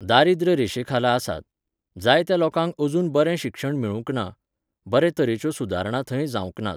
दारिद्र रेशेखाला आसात. जाय त्या लोकांक अजून बरें शिक्षण मेळूंक ना, बरे तरेच्यो सुदारणा थंय जावंक नात